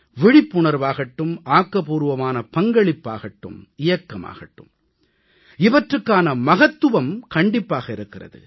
விழிப்புணர்வாகட்டும் ஆக்கபூர்வமான பங்களிப்பாகட்டும் இயக்கமாகட்டும் இவற்றுக்கான மகத்துவம் கண்டிப்பாக இருக்கிறது